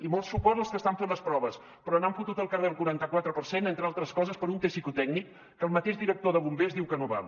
i molt suport als que estan fent les proves però n’han fotut al carrer el quaranta quatre per cent entre altres coses per un test psicotècnic que el mateix director de bombers diu que no val